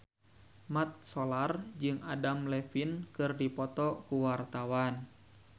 Mat Solar jeung Adam Levine keur dipoto ku wartawan